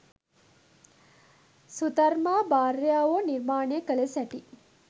සුධර්මා 'භාර්යාවෝ' නිර්මාණය කළ සැටි